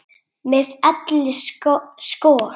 Með elli sko.